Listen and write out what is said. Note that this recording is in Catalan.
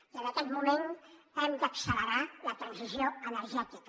i en aquest moment hem d’accelerar la transició energètica